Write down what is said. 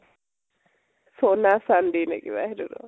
shona chandi নে কিবা সেইটো